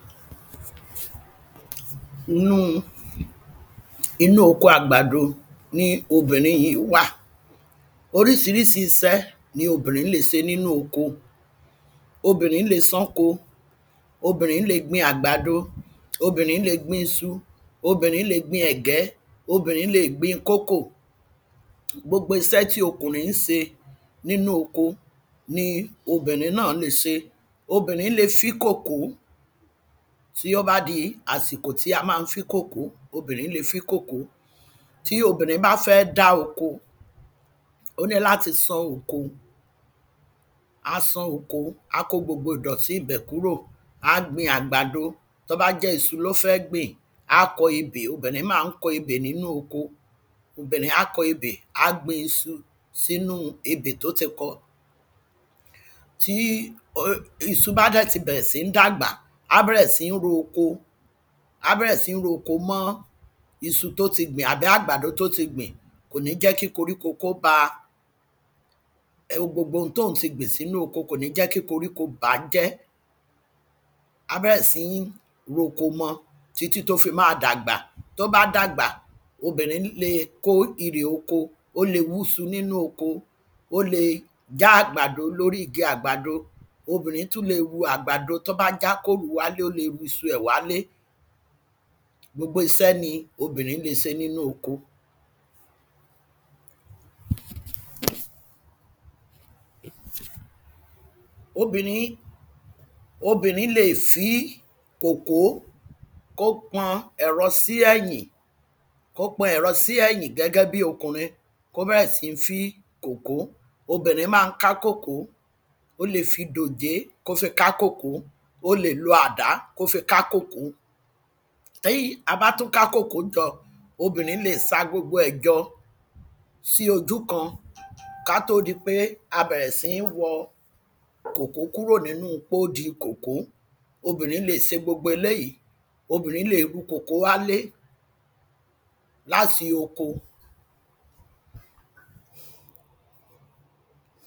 Inú inú oko àgbàdo ni obìnrin yìí wa Oríṣiríṣi iṣe ni obìnrin lè ṣe nínú oko Obìnrin lè sán oko Obìnrin lè gbìn àgbàdo Obìnrin lè gbin iṣu Obìnrin lè gbin ẹ̀gẹ́ Obìnrin lè gbin koko Gbogbo iṣẹ́ tí okùnrin ń ṣe nínú oko ni obìnrin náà lè ṣe Obìnrin lè fí kòkó tí ó bá di àsìkò tí a máa ń fí kòkó obìnrin lè fí kòkó Tí obìnrin bá fẹ́ dá oko ó níláti sán oko Á sán oko Á kó gbogbo ìdọ̀tí ibẹ̀ kúrò Á gbin àgbàdo Tí o bá jẹ́ iṣu ni ó fẹ́ gbìn a kọ ebè Obìnrin máa ń kọ ebè nínú oko Obìnrin á kọ ebè A gbin iṣu sínú ebè tí ó ti kọ Tí um iṣu bá dẹ̀ tí bẹ̀rẹ̀ si ń dàgbà á bẹ̀rẹ̀ sí ń ro oko á bẹ̀rẹ̀ sí ń ro oko mọ́ iṣu tí ó tí gbìn àbí àgbàdo tí ó tí gbìn Kò ní jẹ́ kí koríko kí ó bá gbogbo tí òhun tí gbìn sínú oko kò ní jẹ́ kí koríko bá á jẹ́ Á bẹ̀rẹ̀ sí ń ro oko mọ títí tí ó fi máa dàgbà Tí ó bá dàgbà obìnrin lè kó èrè oko Ó lè wú iṣu nínú oko Ó lè já àgbàdo lórí igi àgbàdo Obìnrin tú lè ru àgbàdo tí ó bá já kí ó rù ú wálé ó lè ru iṣu ẹ̀ wálé Gbogbo iṣẹ́ ni obìnrin lè ṣe nínú oko Obìnrin lè fí kòkó kí ó pọn ẹ̀rọ sí ẹ̀yìn kí ó pọn ẹ̀rọ sí ẹ̀yìn gẹ́gẹ́ bíi okùnrin kí ó bẹ̀rẹ̀ si ń fí kòkó Obìnrin máa ń ká kòkó Ó lè fi dòjé kí ó fi ká kòkó Ó lè lo àdá kí ó fi ká kòkó Tí a bá tú ká kòkó jọ obìnrin lè ṣa gbogbo ẹ̀ jọ sí ojú kan kí a tó di pé a bẹ̀rẹ̀ sí ń wọ́ kòkó kúrò nínú pọ́di kòkó Obìnrin lè ṣe gbogbo eléyì Obìnrin lè ru kòkó wálé láti oko